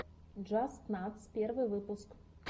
джастнатс первый выпуск